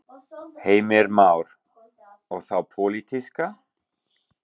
Heimir Már: Og þá pólitíska?